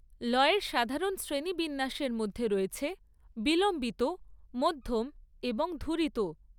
লয়ের সাধারণ শ্রেণিবিন্যাসের মধ্যে রয়েছে বিলম্বিত, মধ্যম এবং ধুরিত।